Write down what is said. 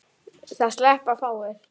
Það sleppa fáir.